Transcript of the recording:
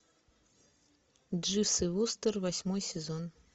дживс и вустер восьмой сезон